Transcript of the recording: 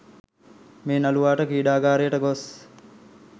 මේ නළුවාට ක්‍රීඩාගාරයට ගොස්